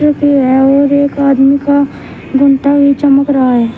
और एक आदमी का भी चमक रहा है।